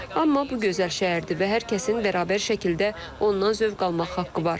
Amma bu gözəl şəhərdir və hər kəsin bərabər şəkildə ondan zövq almaq haqqı var.